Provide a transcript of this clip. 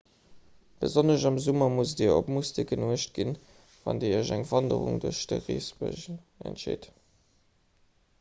besonnesch am summer musst dir op moustiquen uecht ginn wann dir iech fir eng wanderung duerch de reebësch entscheet